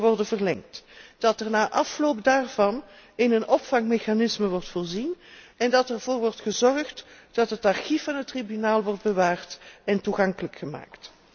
jaar wordt verlengd, dat er na afloop daarvan in een opvangmechanisme wordt voorzien en dat ervoor wordt gezorgd dat het archief van het Tribunaal wordt bewaard en toegankelijk gemaakt.